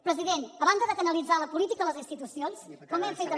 president a banda de canalitzar la política les institucions com hem fet amb